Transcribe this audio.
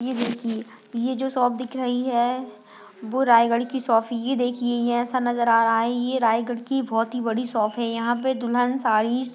ये देखिये ये जो शॉप दिख रही हैं वो रायगढ की शॉप हैं ये देखिये ये ऐसा नज़र आ रहा हैं ये रायगढ की बहोत ही बड़ी शॉप हैं यहाँ पे दुल्हन साड़ी --